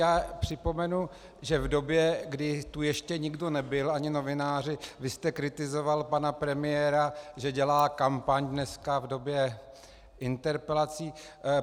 Já připomenu, že v době, kdy tu ještě nikdo nebyl, ani novináři, vy jste kritizoval pana premiéra, že dělá kampaň dneska v době interpelací.